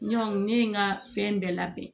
Ɲɔn ne ye n ka fɛn bɛɛ labɛn